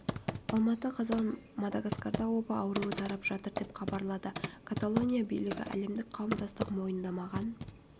алматы қазан мадагаскарда оба ауруы тарап жатыр деп хабарлады каталония билігі әлемдік қауымдастық мойындамаған